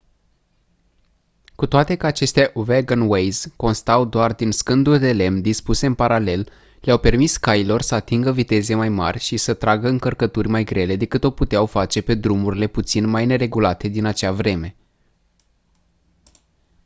cu toate că aceste wagonways constau doar din scânduri de lemn dispuse în paralel le-au permis cailor să atingă viteze mai mari și să tragă încărcături mai grele decât o puteau face pe drumurile puțin mai neregulate din acea vreme